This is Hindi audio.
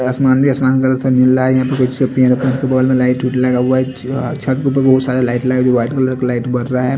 आसमान भी आसमान कलर से मिल रहा है छत पे भी बोहोत सारा लाइट लगा हुआ वाइट कलर का लाइट जल रहा है ।